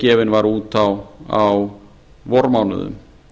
gefin var út á vormánuðum